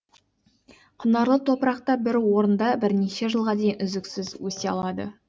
құнарлы топырақта бір орындабірнеше жылға дейін үздіксіз өсе алады